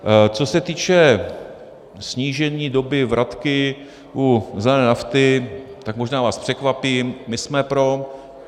Co se týče snížení doby vratky u zelené nafty, tak možná vás překvapím, my jsme pro.